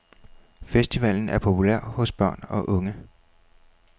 Festivalen er populær hos børn og unge.